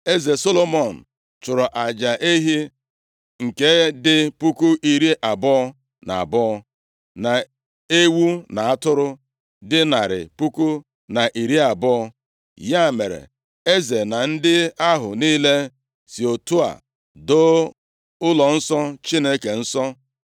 Eze Solomọn chụrụ aja ehi nke dị puku iri abụọ na abụọ, na ewu na atụrụ dị narị puku na iri abụọ. Ya mere, Eze na ndị ahụ niile si otu a doo ụlọnsọ Chineke nsọ.